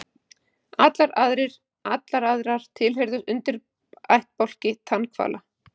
Allar aðrar tilheyra undirættbálki tannhvala.